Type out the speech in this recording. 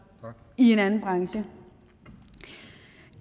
i en anden branche